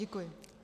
Děkuji.